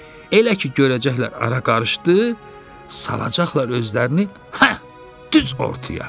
Elə ki görəcəklər ara qarışdı, salacaqlar özlərini, hə, düz ortaya.